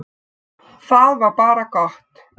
Það var bara gott.